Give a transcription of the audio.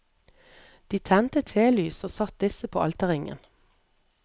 De tente telys og satte disse på alterringen.